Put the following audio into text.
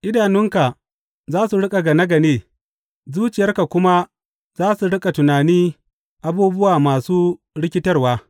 Idanunka za su riƙa gane gane, zuciyarka kuma za su riƙa tunani abubuwa masu rikitarwa.